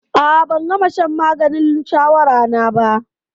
A'a, ban gama shan maganin shawara na ba.